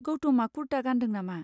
गौतमआ कुर्ता गानदों नामा?